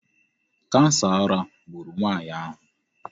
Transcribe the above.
Kansa ara gburu nwaanyị ahụ.